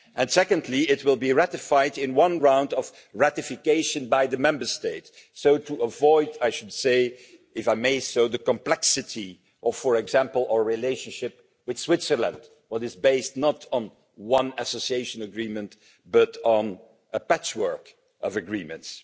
Secondly, it will be ratified in one round of ratification by the Member States, so as to avoid if I may say so the complexity of, for example, our relationship with Switzerland, which is based not on one association agreement, but on a patchwork of agreements.